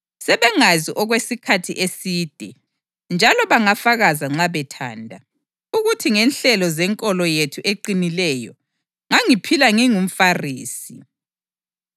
Sebengazi okwesikhathi eside njalo bangafakaza nxa bethanda, ukuthi ngenhlelo zenkolo yethu eqinileyo, ngangiphila ngingumFarisi.